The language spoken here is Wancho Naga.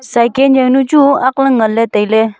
cycle jawnu chu aak le ngan le tailey.